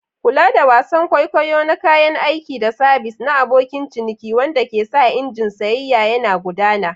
Kula da wasan kwaikwayo na kayan aiki da sabis na abokin ciniki wanda ke sa injin sayayya yana gudana.